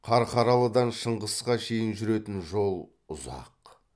қарқаралыдан шыңғысқа шейін жүретін жол ұзақ